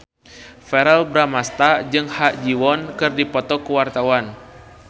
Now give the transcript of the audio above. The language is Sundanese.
Verrell Bramastra jeung Ha Ji Won keur dipoto ku wartawan